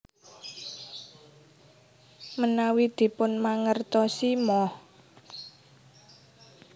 Menawi dipunmangertosi Moh